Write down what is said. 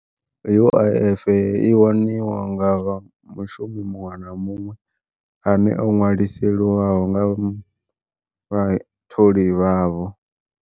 U_I_F i waniwa nga vha mushumi muṅwe na muṅwe, ane o ṅwaliseliwaho nga vha tholi vhavho.